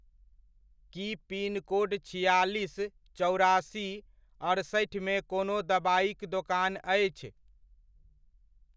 की pincode छिआलिस चौरासी अड़सठिमे कोनो दबाइक दोकान अछि?